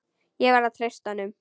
Ég verð að treysta honum.